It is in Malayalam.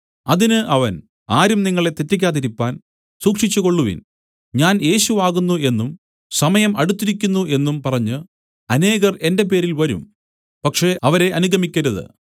അതിന് അവൻ ആരും നിങ്ങളെ തെറ്റിക്കാതിരിപ്പാൻ സൂക്ഷിച്ചുകൊള്ളുവിൻ ഞാൻ യേശു ആകുന്നു എന്നും സമയം അടുത്തിരിക്കുന്നു എന്നും പറഞ്ഞു അനേകർ എന്റെ പേരിൽ വരും പക്ഷേ അവരെ അനുഗമിക്കരുത്